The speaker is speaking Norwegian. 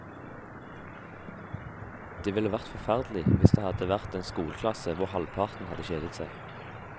Det ville vært forferdelig hvis det hadde vært en skoleklasse hvor halvparten hadde kjedet seg.